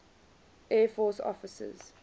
air force officers